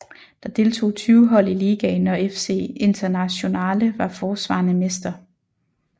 Der deltog 20 hold i ligaen og FC Internazionale var forsvarende mester